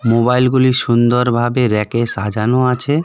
মোবাইলগুলি সুন্দরভাবে ব়্যাকে সাজানো আছে .